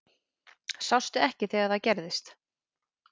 Sástu ekki þegar það gerðist?